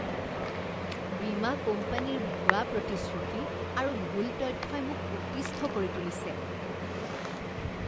বীমা কোম্পানীৰ ভুৱা প্ৰতিশ্ৰুতি আৰু ভুল তথ্যই মোক অতিষ্ঠ কৰি তুলিছে।